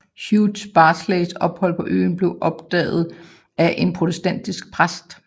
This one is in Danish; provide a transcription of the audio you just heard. Hugh Barclays ophold på øen blev opdaget af en protestantisk præst